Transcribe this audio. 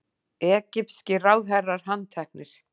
Egypskir ráðherrar handteknir